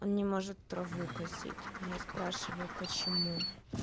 он не может траву косить а я спрашиваю почему